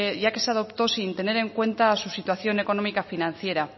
ya que se adoptó sin tener en cuenta su situación económica financiera